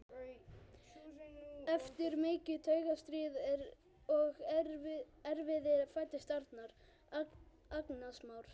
Eftir mikið taugastríð og erfiði fæddist Arnar, agnarsmár.